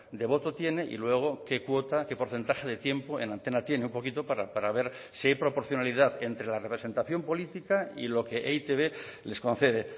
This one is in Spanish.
de voto tiene y luego qué cuota qué porcentaje de tiempo en antena tiene un poquito para ver si hay proporcionalidad entre la representación política y lo que e i te be les concede